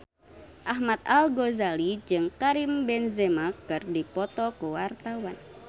Ahmad Al-Ghazali jeung Karim Benzema keur dipoto ku wartawan